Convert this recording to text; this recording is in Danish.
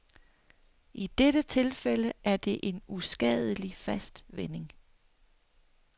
I dette tilfælde er det en uskadelig fast vending.